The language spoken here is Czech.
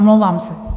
Omlouvám se.